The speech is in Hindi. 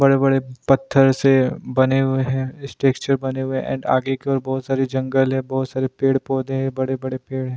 बड़े-बड़े पत्थर से बने हुए हैं स्ट्रक्चर बने हुए हैं एंड आगे की ओर बहुत सारे जंगल है बहुत सारे पेड़ पौधे हैं बड़े-बड़े पेड़ है।